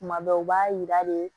Tuma bɛɛ u b'a yira de